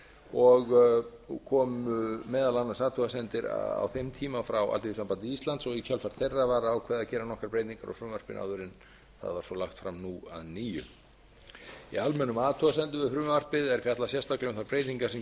og komu meðal annars athugasemdir á þeim tíma frá alþýðusambandi íslands og í kjölfar þeirra var ákveðið að gera nokkrar breytingar á frumvarpinu áður en það var svo lagt fram nú að nýju í almennum athugasemdum við frumvarpið er fjallað sérstaklega um þær breytingar sem